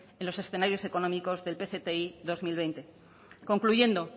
en los escenarios económicos del pcti bi mila hogei concluyendo